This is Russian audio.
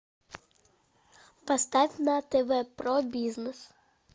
поставь на тв про бизнес